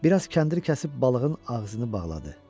Bir az kəndir kəsib balığın ağzını bağladı.